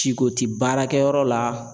Siko ti baarakɛyɔrɔ la